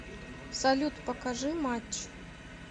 салют покажи матч